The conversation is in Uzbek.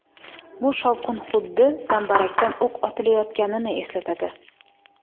Bu shovqin xuddi zambarakdan o‘q otilayotganini eslatadi.